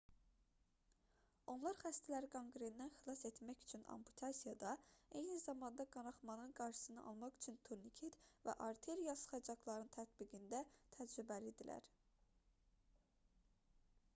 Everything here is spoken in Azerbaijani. onlar xəstələri qanqrendən xilas etmək üçün amputasiyada eyni zamanda qanaxmanın qarşısını almaq üçün turniket və arterial sıxacaqların tətbiqində təcrübəli idilər